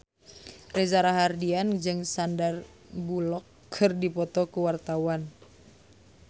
Reza Rahardian jeung Sandar Bullock keur dipoto ku wartawan